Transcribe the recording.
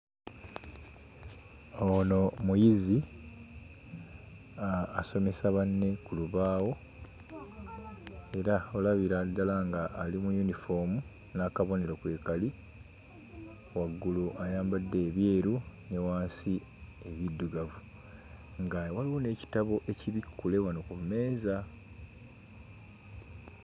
Ono muyizi asomesa banne ku lubaawo era olabira ddala ng'ali mu yunifoomu n'akabonero kwe kali. Waggulu ayambadde ebyeru ne wansi ebiddugavu nga waliwo n'ekitabo ekibikkule wano ku mmeeza.